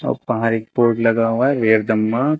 और बाहर एक बोर्ड लगा हुआ है